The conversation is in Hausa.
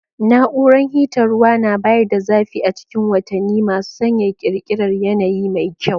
Na'uran hitan ruwa na bayar da zafi a cikin watanni masu sanyaya, ƙirƙirar yanayi mai kyau.